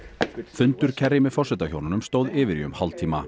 fundur Kerry með forsetahjónunum stóð yfir í um hálftíma